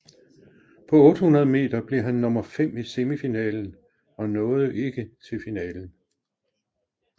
På 800 meter blev han nummer 5 i semifinalen og nåede ikke til finalen